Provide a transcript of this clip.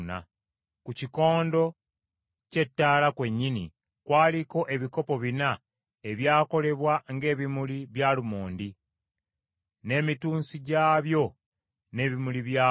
Ku kikondo ky’ettaala kwennyini kwaliko ebikopo bina ebyakolebwa ng’ebimuli by’alumondi n’emitunsi gyabyo n’ebimuli byako.